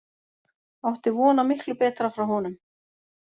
Ég átti von á miklu betra frá honum.